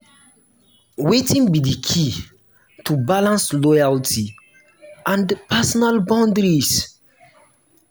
wetin be di key to balance loyalty and personal boundaries?